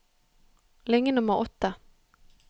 Linje nummer åtte